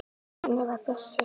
Þannig var Bjössi.